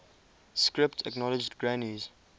script acknowledged granny's